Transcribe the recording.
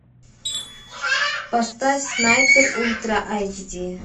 поставь снайпер ультра айч ди